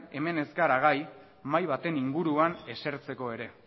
hemen ez gara gai mahai baten inguruan esertzeko ere